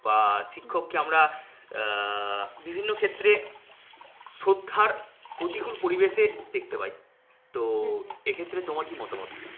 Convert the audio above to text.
বা শিক্ষককে আমরা হম বিভিন্ন ক্ষেত্রে শ্রদ্ধার প্রতিকূল পরিবেশে দেখতে পাই। তো এক্ষেত্রে তোমার কী মতামত?